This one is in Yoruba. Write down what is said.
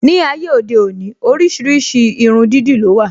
Ní ayé òde òní, oríṣiríṣi irun dídì ló wà